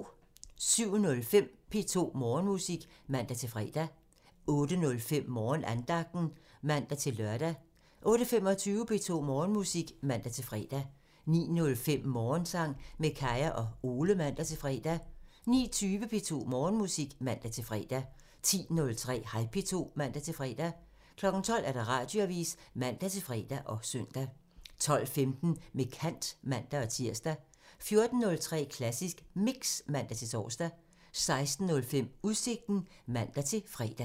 07:05: P2 Morgenmusik (man-fre) 08:05: Morgenandagten (man-lør) 08:25: P2 Morgenmusik (man-fre) 09:05: Morgensang med Kaya og Ole (man-fre) 09:20: P2 Morgenmusik (man-fre) 10:03: Hej P2 (man-fre) 12:00: Radioavisen (man-fre og søn) 12:15: Med kant (man-tir) 14:03: Klassisk Mix (man-tor) 16:05: Udsigten (man-fre)